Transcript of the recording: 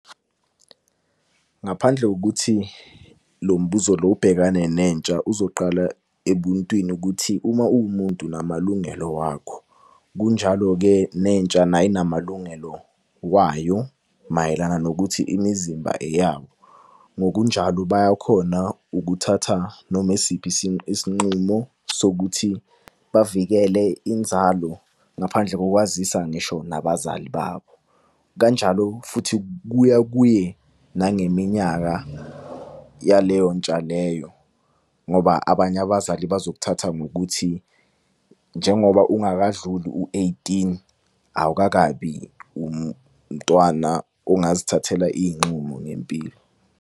Ngaphandle kokuthi lo mbuzo lo ubhekane nentsha, uzoqala ebuntwini ukuthi uma uwumuntu unamalungelo wakho. Kunjalo-ke nentsha nayo inamalungelo wayo mayelana nokuthi imizimba eyabo. Ngokunjalo bayakhona ukuthatha noma esiphi s isinqumo sokuthi bavikele inzalo ngaphandle ngokwazisa ngisho nabazali babo. Kanjalo futhi kuya kuye nangeminyaka yaleyo ntsha leyo. Ngoba abanye abazali bazokuthatha ngokuthi njengoba ungakadluli u-eighteen, awukakabi umntwana ongazithathela iy'nqumo ngempilo.